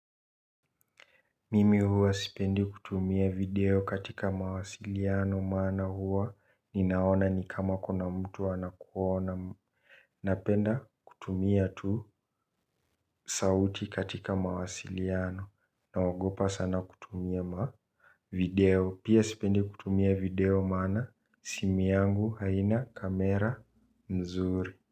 Mimi huwa sipendi kutumia video katika mawasiliano maana huwa ninaona ni kama kuna mtu anakuona. Napenda kutumia tu sauti katika mawasiliano naogopa sana kutumia ma video pia sipendi kutumia video maana simu yangu haina kamera mzuri.